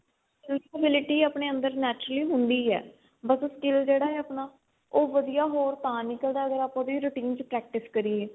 fix ability ਆਪਣੇ ਅੰਦਰ naturally ਹੁੰਦੀ ਏ ਬੱਸ ਉਹ skill ਜਿਹੜਾ ਹੈ ਆਪਣਾ ਉਹ ਵਧੀਆ ਹੋਰ ਤਾਂ ਨਿਕਲਦਾ ਅਗਰ ਆਪਾਂ ਉਹਦੀ routine ਚ practice ਕਰੀਏ